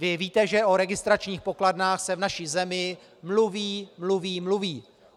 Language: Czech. Vy víte, že o registračních pokladnách se v naší zemi mluví, mluví, mluví.